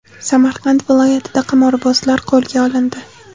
Samarqand viloyatida qimorbozlar qo‘lga olindi.